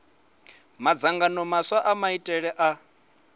madzangano maswa a maitele a